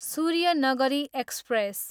Suryanagari express